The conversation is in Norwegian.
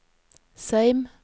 Seim